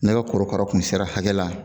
Ne ka korokara tun sera hakɛ la